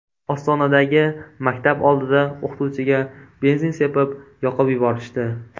Ostonadagi maktab oldida o‘qituvchiga benzin sepib, yoqib yuborishdi.